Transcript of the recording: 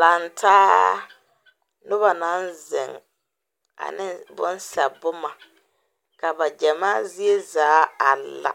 Laŋtaa noba naŋ zeŋ ane bonsɛ boma ka ba gyɛmaa zie zaa a la